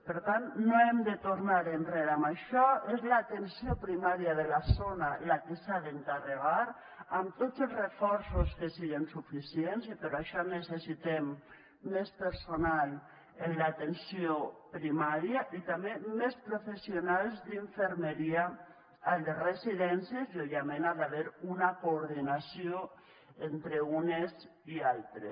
per tant no hem de tornar enrere amb això és l’atenció primària de la zona la que se n’ha d’encarregar amb tots els reforços que siguen suficients i per això necessitem més personal en l’atenció primària i també més professionals d’infermeria a les residències i òbviament hi ha d’haver una coordinació entre unes i altres